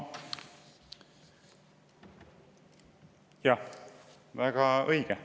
Jah, väga õige.